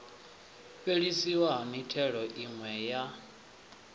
fhelisiwa ha mithelo miwe ye